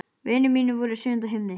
Vinir mínir voru í sjöunda himni.